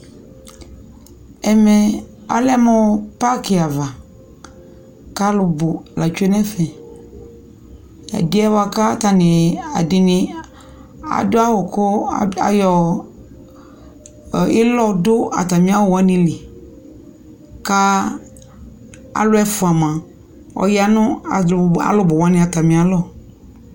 Ɛmɛ alɛ mʋ pakɩ ava kʋ alʋbʋ atsue nʋ ɛfɛ Ɛdɩ yɛ bʋa kʋ atanɩ ɛdɩnɩ adʋ awʋ kʋ ayɔ ɩlɔ dʋ atamɩ awʋ wanɩ li kʋ alʋ ɛfʋa mʋa, ɔya nʋ alʋbʋ wanɩ atamɩalɔ